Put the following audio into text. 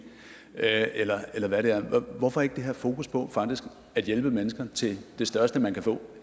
er eller hvad det er hvorfor ikke det her fokus på faktisk at hjælpe mennesker til det største man kan få